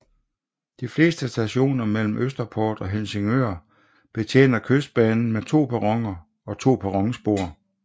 De fleste stationer mellem Østerport og Helsingør betjener Kystbanen med to perroner og to perronspor